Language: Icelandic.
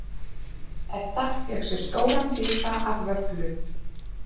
Edda fékk sér stóran bita af vöfflu.